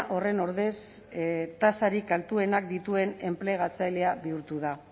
horren ordez tasarik altuenak dituen enplegatzailea bihurtu da